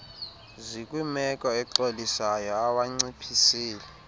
zikwimeko exolisayo awanciphisile